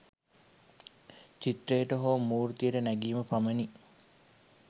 චිත්‍රයට හෝ මුර්තියට නැගීම පමණි